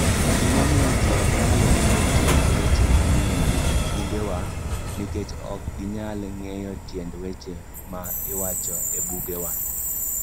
Gimomiyo Ji Ok Nyal Winjo Tiend Weche Manie Bugewa: Nikech ok ginyal ng'eyo tiend weche ma iwacho e bugewa.